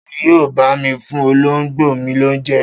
Ta ni yóò bá mi fún olóńgbò mi lóúnjẹ?